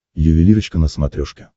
ювелирочка на смотрешке